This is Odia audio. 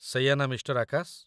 ସେଇଆ ନା, ମିଃ. ଆକାଶ?